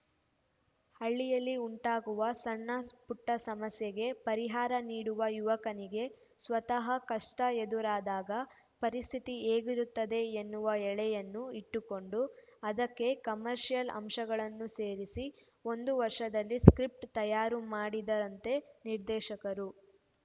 ಹಳ್ಳಿಯಲ್ಲಿ ಉಂಟಾಗುವ ಸಣ್ಣ ಪುಟ್ಟಸಮಸ್ಯೆಗೆ ಪರಿಹಾರ ನೀಡುವ ಯುವಕನಿಗೆ ಸ್ವತಃ ಕಷ್ಟಎದುರಾದಾಗ ಪರಿಸ್ಥಿತಿ ಹೇಗಿರುತ್ತದೆ ಎನ್ನುವ ಎಳೆಯನ್ನು ಇಟ್ಟುಕೊಂಡು ಅದಕ್ಕೆ ಕಮರ್ಷಿಯಲ್‌ ಅಂಶಗಳನ್ನು ಸೇರಿಸಿ ಒಂದು ವರ್ಷದಲ್ಲಿ ಸ್ಕಿ್ರಪ್ಟ್‌ ತಯಾರು ಮಾಡಿದ್ದಾರಂತೆ ನಿರ್ದೇಶಕರು